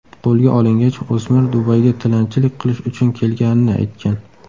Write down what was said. Qo‘lga olingach, o‘smir Dubayga tilanchilik qilish uchun kelganini aytgan.